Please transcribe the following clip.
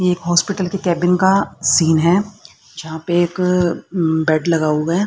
ये एक हॉस्पिटल के केबिन का सीन है जहां पे एक बेड लगा हुआ है।